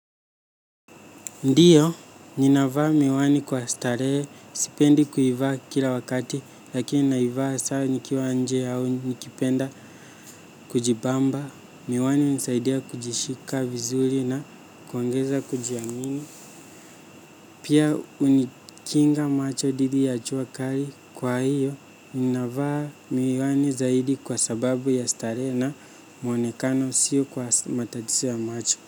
Ndio, ninavaa miwani kwa starehe, sipendi kuivaa kila wakati, lakini naivaa saa nikiwa nje au nikipenda kujibamba, miwani hunisaidia kujishika vizuri na kuongeza kujiamini. Pia hunikinga macho dhidi ya jua kali kwa hiyo, ninavaa miwani zaidi kwa sababu ya starehe na mwonekano siyo kwa matatizo ya macho.